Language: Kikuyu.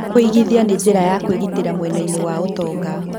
Kũigithia nĩ njĩra ya kwĩgitĩra mwena-inĩ wa ũtonga.